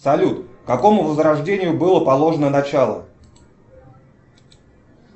салют какому возрождению было положено начало